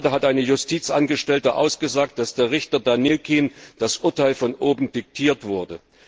Gerade hat eine Justizangestellte ausgesagt, dass dem Richter Danilkin das Urteil von oben diktiert wurde.